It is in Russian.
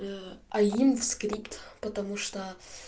аим в скрипт потому что